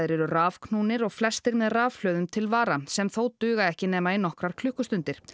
eru rafknúnir og flestir með rafhlöðum til vara sem þó duga ekki nema í nokkrar klukkustundir